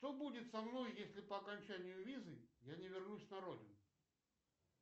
что будет со мной если по окончанию визы я не вернусь на родину